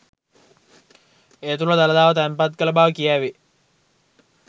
ඒ තුළ දළදාව තැන්පත් කළ බව කියැවේ